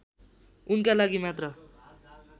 उनका लागि मात्र